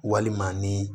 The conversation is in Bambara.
Walima ni